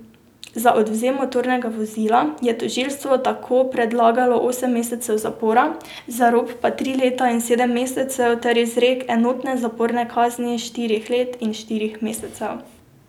Za odvzem motornega vozila je tožilstvo tako predlagalo osem mesecev zapora, za rop pa tri leta in sedem mesecev ter izrek enotne zaporne kazni štirih let in štirih mesecev.